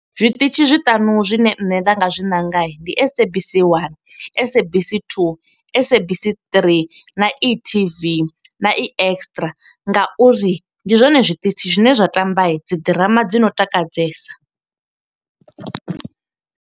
Zwiṱitshi zwiṱanu zwine nṋe nda nga zwi nanga ndi SABC 1, SABC 2, SABC 3, na e-TV, na e-Extra nga uri ndi zwone zwiṱitshi zwine zwa tamba dzi ḓirama dzi no takadzesa.